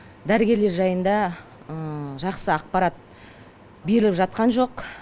дәрігерлер жайында жақсы ақпарат беріліп жатқан жоқ